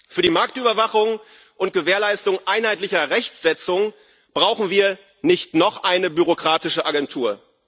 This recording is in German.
Für die Marktüberwachung und Gewährleistung einheitlicher Rechtsetzung brauchen wir nicht noch eine bürokratische Agentur.